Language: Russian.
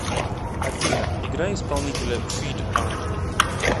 афина играй исполнителя фид ар